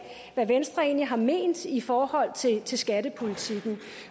hvad venstre egentlig har ment i forhold til til skattepolitikken